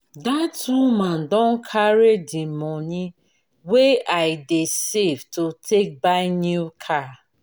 dat woman don carry the money wey i dey save to take buy new car